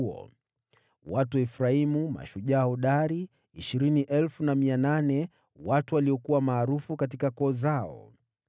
Watu wa Efraimu, mashujaa hodari 20,800, watu waliokuwa maarufu katika koo zao.